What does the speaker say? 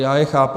Já je chápu.